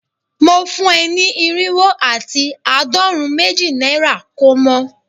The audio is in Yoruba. Mo fun e ni irinwo ati aadorun meji naira ko mo